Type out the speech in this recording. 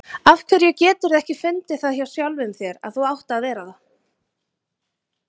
Af hverju geturðu ekki fundið það hjá sjálfum þér að þú átt að vera það?